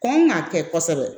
Kɔn k'a kɛ kosɛbɛ